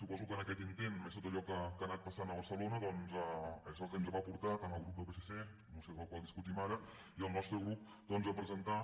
suposo que aquest intent més tot allò que ha anat passant a barcelona doncs és el que ens va portar tant al grup del psc la moció del qual discutim ara com al nostre grup a presentar